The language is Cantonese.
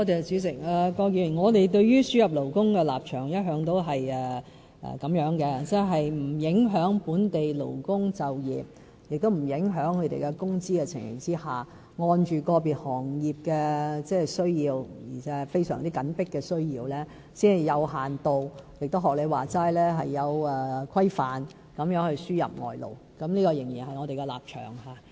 主席，郭議員，我們對於輸入勞工的立場，一向都是在不影響本地勞工就業，亦不影響他們工資的情形下，按照個別行業的需要而且是非常緊迫的需要，才會有限度地——亦正如你所說——有規範地輸入外勞，這仍然是我們的立場。